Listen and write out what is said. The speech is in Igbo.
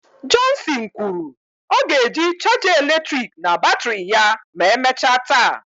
Johnson kwuru " ọ ga-eji chaja eletrik na batrị ya ma emechaa taa."